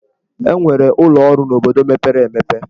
E nwere ụlọ ọrụ n'obodo mepere emepe.